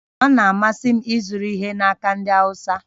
Ọ na-amasị m ịzụrụ ihe n'aka ndị Awụsa